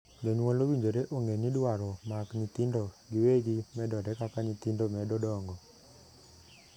Jonyuol owinjore ong'ee ni dwaro mag nyithindo giwegi medore kaka nyithindo medo dongo.